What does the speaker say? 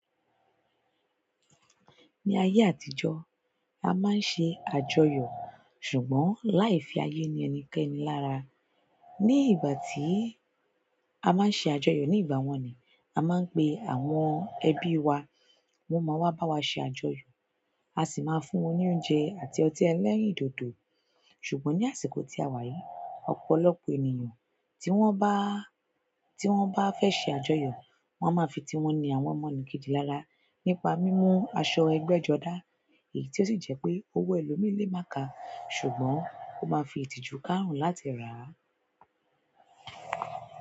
Ní ayé àtijọ́, a máa ń ṣe àjọyọ̀ ṣùgbọ́n láì fi ayé ni ẹnikẹ́ni lára. Ni ìgbà tí a máa ń ṣe àjọyọ̀ ní ìgbà wọ́n ni, a máa ń pe àwọn ẹbí wa wọ́n máa wá bá wa ṣe àjọyọ̀, a sì máa fún wọn ní oúnjẹ àti ọtí ẹlẹ́rìndòdò. Ṣùgbọ́n ní àsìkò tí a wà yìí, ọ̀pọ̀lọpọ̀ ènìyàn tí wọ́n bá, tí wọ́n bá fẹ́ ṣe àjọyọ̀, wọ́n á máa fi tiwọn ni àwọn ọmọ nìkéji lára nípa mímú aṣọ ẹgbẹ́jọdá èyí tí ó sì jẹ́ pé owó ẹlòmíì lé mà ká ṣùgbọ́n ó máa ń fi ìtìjú kárùn-ún láti rà á.